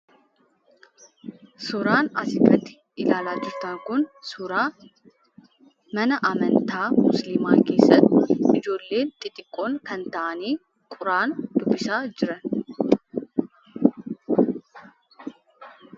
Suuraan asii gadi ilaalaa jirtan kun, suuraa mana amantaa musiliimaa keessatti ijoolleen xixiqqoon kan taa'anii, quraana dubbisaa jiranidha.